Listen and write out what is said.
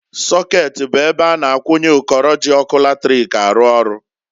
Sokeeti bụ ebe a na-akwụnye ụkọrọ ji ọkụ latric arụ ọrụ.